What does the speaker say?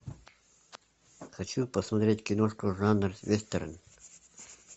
хочу посмотреть киношку жанр вестерн